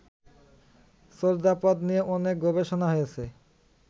চর্যাপদ নিয়ে অনেক গবেষণা হয়েছে